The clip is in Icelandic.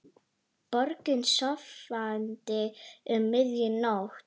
Borgin sofandi um miðja nótt.